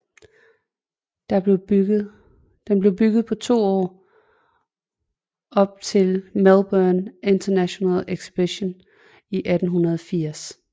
Den blev bygget på to år op til Melbourne International Exhibition i 1880